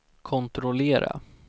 kontrollera